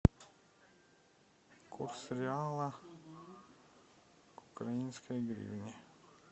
курс реала к украинской гривне